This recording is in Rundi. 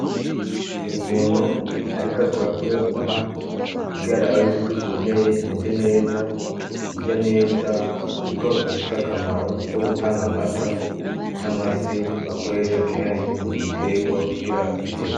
Umuntu, ariko akurakuo inka ugerarayo yuko ikomeye imeze neza irya neza uko ifisa akamaro wo gutanga amata n'amasi bakwesha kenshi mubiterwa kugira zimere.